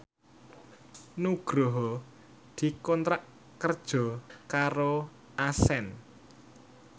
Nugroho dikontrak kerja karo Accent